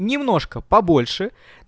немножко побольше